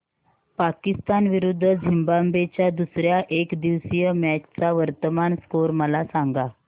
पाकिस्तान विरुद्ध झिम्बाब्वे च्या दुसर्या एकदिवसीय मॅच चा वर्तमान स्कोर मला सांगा